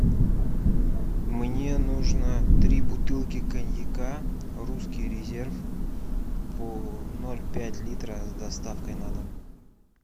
мне нужно три бутылки коньяка русский резерв по ноль пять литра с доставкой на дом